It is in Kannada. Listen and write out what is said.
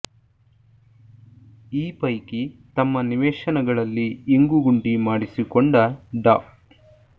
ಈ ಪೈಕಿ ತಮ್ಮ ನಿವೇಶನಗಳಲ್ಲಿ ಇಂಗು ಗುಂಡಿ ಮಾಡಿಸಿಕೊಂಡ ಡಾ